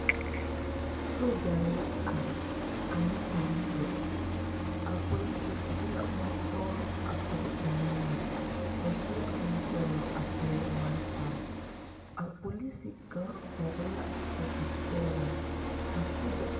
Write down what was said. Dɔba bayi la ka kaŋa gbi ka kaŋa dɔɔ kyɛ ka kuruu biŋ o na naŋ gbi nimitɔɔreŋ k,o leɛ o puori a tere a zie kaŋa ka kaŋa naŋ dɔɔ meŋ leŋ bompelaa o zu poɔ kyɛ ka kuruu kaŋa